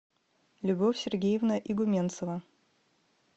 любовь сергеевна игуменцева